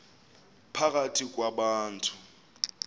phakathi kwa bantu